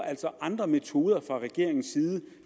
altså andre metoder fra regeringens